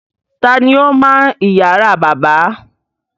Ta ni ó máa ń ìyàrá bàbá?